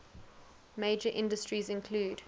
major industries include